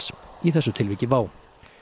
í þessu tilviki WOW